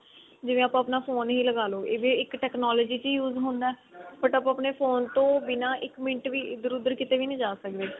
ਜਿਵੇਂ ਆਪਾਂ ਆਪਣਾ phone ਹੀ ਲਗਾ ਲੋ ਇਹ ਵੀ ਇੱਕ technology ਚ ਹੀ use ਹੁੰਦਾ but ਪਨ ਆਪਣੇ ਫੋਨ ਤੋਂ ਬਿਨਾ ਇੱਕ ਮਿੰਟ ਇੱਧਰ ਉੱਧਰ ਕਿਤੇ ਵੀ ਨੀ ਜਾ ਸਕਦੇ